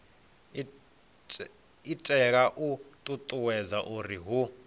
itela u ṱuṱuwedza uri hu